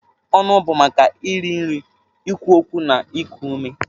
Ọnụ bụ maka iri nri, ikwu okwu na iku ume.